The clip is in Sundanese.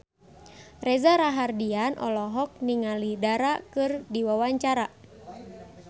Reza Rahardian olohok ningali Dara keur diwawancara